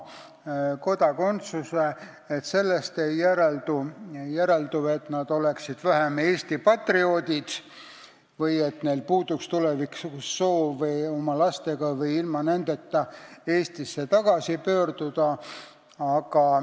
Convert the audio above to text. Aga sellest ei järeldu, et nad oleksid vähem Eesti patrioodid või et neil puuduks tulevikus soov oma lastega või ilma nendeta Eestisse tagasi pöörduda.